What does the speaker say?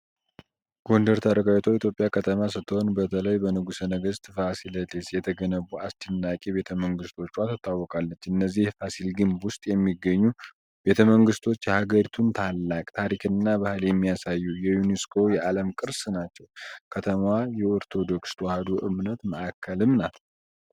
ጎንደር ታሪካዊቷ የኢትዮጵያ ከተማ ስትሆን፣ በተለይ በንጉሠ ነገሥት ፋሲለደስ የተገነቡት አስደናቂ ቤተመንግስቶቿ ትታወቃለች። እነዚህ የፋሲል ግቢ ውስጥ የሚገኙ ቤተመንግስቶች የሀገሪቱን ታላቅ ታሪክና ባህል የሚያሳዩ የዩኔስኮ የዓለም ቅርስ ናቸው። ከተማዋ የኦርቶዶክስ ተዋሕዶ እምነት ማዕከልም ናት።